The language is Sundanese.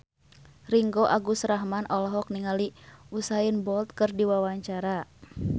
Ringgo Agus Rahman olohok ningali Usain Bolt keur diwawancara